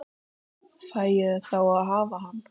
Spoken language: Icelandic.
Fæ ég þá að hafa hann?